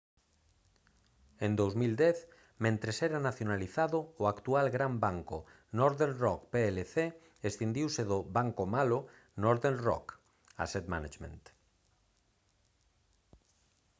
en 2010 mentres era nacionalizado o actual gran banco northern rock plc escindiuse do banco malo northern rock asset management